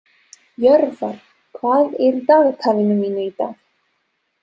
Jörvar, hvað er í dagatalinu mínu í dag?